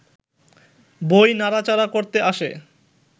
বই নাড়া-চাড়া করতে আসে